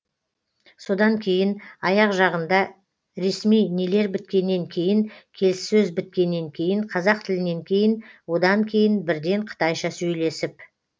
содан кейін аяқ жағында ресми нелер біткеннен кейін келіссөз біткеннен кейін қазақ тілінен кейін одан кейін бірден қытайша сөйлесіп